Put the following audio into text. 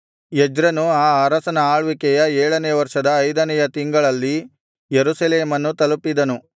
ಎಜ್ರನು ಆ ಅರಸನ ಆಳ್ವಿಕೆಯ ಏಳನೆಯ ವರ್ಷದ ಐದನೆಯ ತಿಂಗಳಲ್ಲಿ ಯೆರೂಸಲೇಮನ್ನು ತಲುಪಿದನು